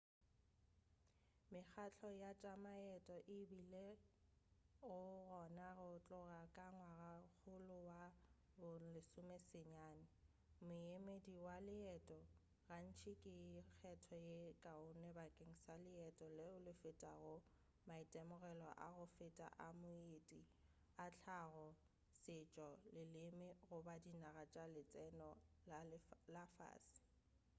mekgahlo ya tša maeto e bilego gona go tloga ka ngwagakgolo wa bo 19 moemedi wa leeto gantši ke kgetho ye kaone bakeng sa leeto leo le fetago maitemogelo a go feta a moeti a hlago setšo leleme goba dinaga tša letseno la fase